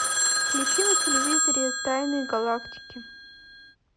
включи на телевизоре тайны галактики